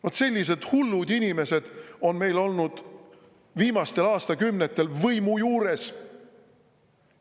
Vot sellised hullud inimesed on meil olnud viimastel aastakümnetel võimu juures.